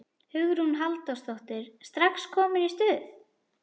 Hugrún Halldórsdóttir: Strax komin í stuð?